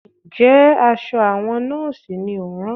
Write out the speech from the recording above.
Ǹjẹ́ aṣọ àwọn Nọ́ọ̀sì ni ò ń rán?